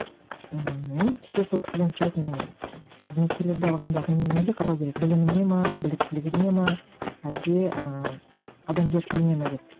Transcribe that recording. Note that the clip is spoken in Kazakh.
ммм мен кейде сол кісіден сұрайтынмын қызметкерлерді алғанда неге қарау керек біліміне ме біліктілігіне ме әлде ыыы адамгершілігіне ме деп